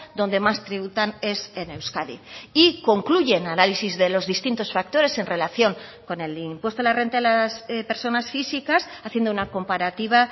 donde más tributan es en euskadi y concluye el análisis de los distintos factores en relación con el impuesto de la renta de las personas físicas haciendo una comparativa